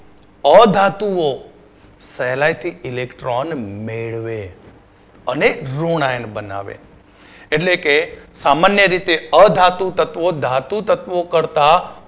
અધાતુઓ સહેલાઈથી electron મેળવે. અને બનાવે. એટલે કે, સામાન્ય રીતે અધાતુ તત્વો ધાતુ તત્વો કરતા